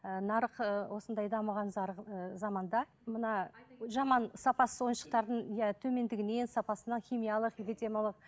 ы нарық ыыы осындай дамыған заманда мына жаман сапасыз ойыншықтардың иә төмендігінен сапасына химиялық эпидемиялық